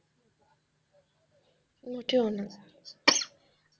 মোটেও না,